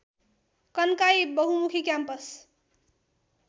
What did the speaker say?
कन्काई बहुमुखी क्याम्पस